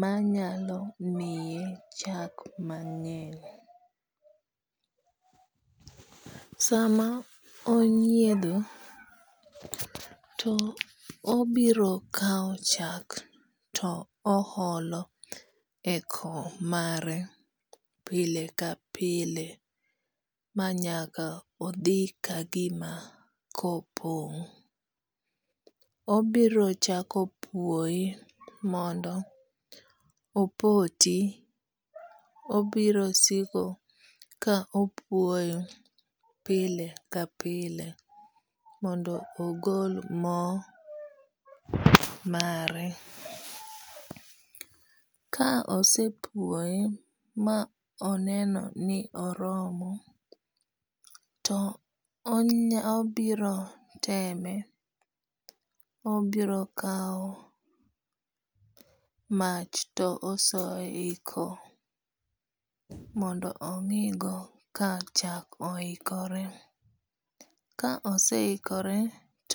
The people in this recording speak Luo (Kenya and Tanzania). manyalo miye chak mang'eny. Sama onyiedho to obiro kaw chak to o olo eko mare pile ka pile manyaka odhi ka gima ko pong'. Obiro chako puoye mondo opoti. Obiro siko ka opuoyo pile ka pile mondo ogol mo mare. Ka osepuoye ma oneno ni oromo to obiro teme, obiro kaw mach to osoye yi ko mondo ong'i go ka chak oikore. Ka oseikore.